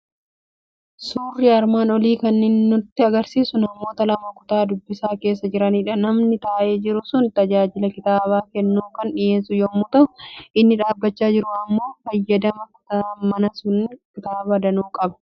Suurri armaan olii kan nu argisiisu namoota lama kutaa dubbisaa keessa jiranidha. Namni taa'ee jiru sun tajaajila kitaaba kennuu kan dhiyeessu yommuu ta'u, inni dhaabbachaa jiru immoo fayyadamaadha. Kutaan manaa sun kitaaba danuu qaba.